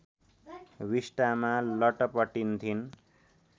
विस्टामा लटपटिन्थिन्